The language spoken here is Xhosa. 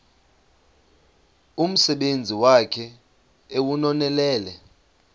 umsebenzi wakhe ewunonelele